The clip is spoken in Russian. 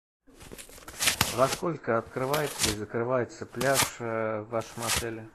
во сколько открывается и закрывается пляж в вашем отеле